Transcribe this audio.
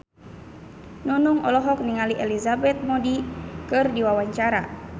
Nunung olohok ningali Elizabeth Moody keur diwawancara